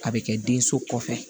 A bɛ kɛ den so kɔfɛ